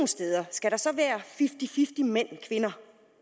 steder skal der så være fifty fifty mænd og kvinder